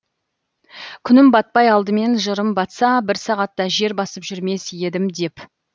күнім батпай алдымен жырым батса бір сағатта жер басып жүрмес едім деп